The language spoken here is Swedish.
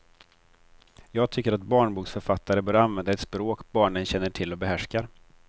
Jag tycker att barnboksförfattare bör använda ett språk barnen känner till och behärskar.